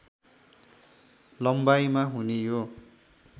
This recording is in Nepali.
लम्बाइमा हुने यो